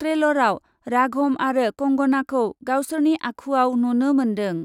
ट्रेलरआव राघभ आरो कंगनाखौ गावसोरनि आखुआव नुनो मोन्दों ।